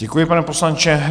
Děkuji, pane poslanče.